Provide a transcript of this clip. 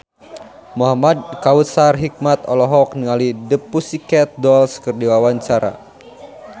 Muhamad Kautsar Hikmat olohok ningali The Pussycat Dolls keur diwawancara